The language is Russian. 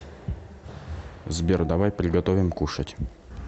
сбер давай приготовим кушать